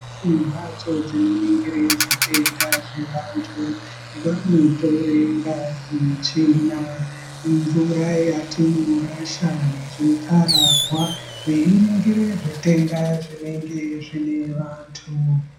Imbatso dzinoningire zvitenda zvevantu vanotore ngazi, tsvina mvura yatinorasha nezvikararwa veiningira zvitenda zvinenge zvine vantu.